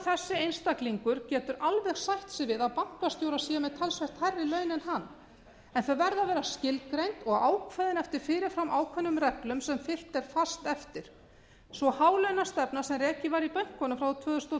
þessi einstaklingur getur alveg sætt sig við að bankastjórar séu með talsvert hærri laun en hann en þau verða að vera skilgreind og ákveðin eftir ákveðnum fyrir fram ákveðnum reglum sem fylgt er fast eftir sú hálaunastefna sem rekin var í bönkunum frá tvö þúsund og